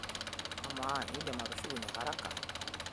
Amaa, indim atushukunye haraka?